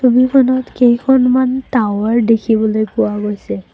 ছবিখনত কেইখনমান টাৱাৰ দেখিবলৈ পোৱা গৈছে।